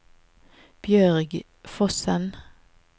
Bjørg Fossen